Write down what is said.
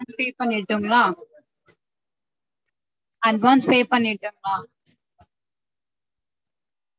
Advance pay பண்ணிரட்டுங்களா? advance pay பண்ணிரட்டுங்களா?